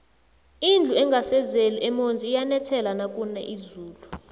indlu engasezeli emonzi iyanethela nakuna izulu